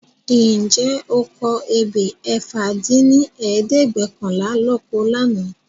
. Ǹjẹ́ o kọ ebè ẹ̀fà dín ní ẹ̀ẹ́dẹ́gbẹ́ọ̀kànlá lóko lànà?